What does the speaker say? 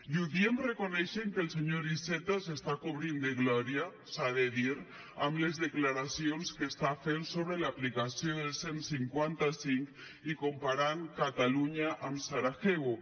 i ho diem reconeixent que el senyor iceta s’està cobrint de glòria s’ha de dir amb les declaracions que està fent sobre l’aplicació del cent i cinquanta cinc i comparant catalunya amb sarajevo